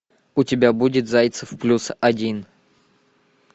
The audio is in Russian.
у тебя будет зайцев плюс один